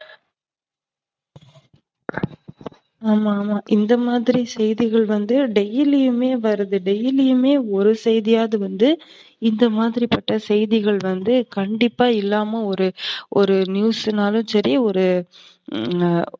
ஆமா, ஆமா. இந்தமாதிரி செய்திகள் வந்து daily யுமே வருது daily யுமே ஒரு செய்தியாது வந்து இந்தமாதிரிபட்ட செய்திகள் வந்து கண்டிப்பா இல்லாம ஒரு news னாலும் சரி, ஒரு ஆ